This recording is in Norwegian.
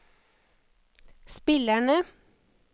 spillerne